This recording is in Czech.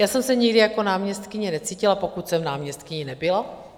Já jsem se nikdy jako náměstkyně necítila, pokud jsem náměstkyní nebyla.